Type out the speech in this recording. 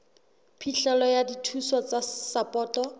phihlelo ya dithuso tsa sapoto